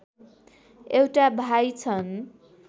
एउटा भाइ छन्